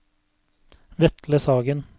Vetle Sagen